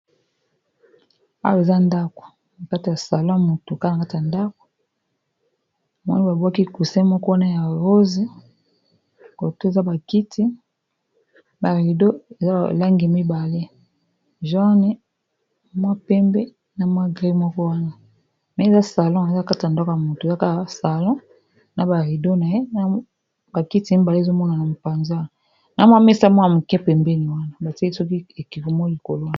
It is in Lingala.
Awa eza ndako nakati ya salon ya mutu, kaka nakati ya ndako, namoni babwaki cusin moko wana ya rose, coto oyo eza ba kiti, ba ridon eza na balangi mibale joanne, mua pembe na mua mbwe, eza salon ya mutu, ba kiti na mua mesa moko ya moke pembeni wana batieli soki ekeko likolo wana.